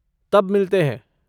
तब मिलते हैं।